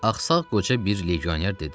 Ağsaq qoca bir legioner dedi.